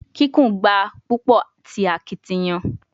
Kikun gba a pupo ti akitiyan